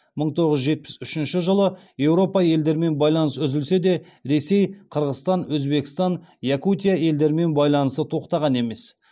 мың тоғыз жүз жетпіс үшінші жылы еуропа елдерімен байланыс үзілсе де ресей қырғыстан өзбекстан якутия елдерімен байланысы тоқтаған емес